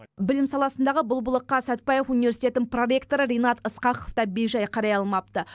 білім саласындағы бұл былыққа сатбаев университеті проректоры ринат ысқақов та бейжай қарай алмапты